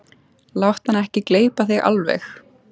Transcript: Láttu hann ekki gleypa þig alveg!